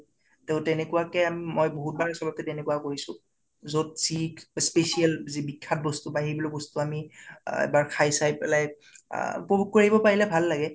তʼ তেনেকুৱা কে আম বহুত বাৰ চবতে তেনেকুৱা কৰিছো। যʼত , special যি বিখ্যাত বস্তু বা এইবিলাক বস্তু এবাৰ আ খাই চাই পেলাই আ উপভুক কৰিব পাৰিলে ভাল লাগে।